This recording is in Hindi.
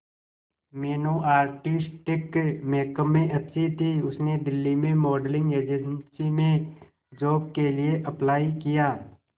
मीनू आर्टिस्टिक मेकअप में अच्छी थी उसने दिल्ली में मॉडलिंग एजेंसी में जॉब के लिए अप्लाई किया